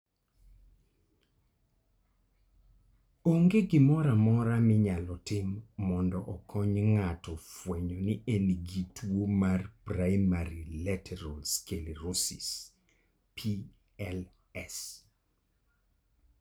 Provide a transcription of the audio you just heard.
Onge gimoro amora minyalo tim mondo okony ng'ato fwenyo ni en gi tuwo mar primary lateral sclerosis (PLS).